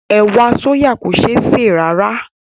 Ẹ̀wà sóyà kò ṣé sè rárá